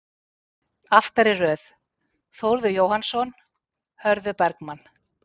Aftari röð: Þórður Jóhannsson, Hörður Bergmann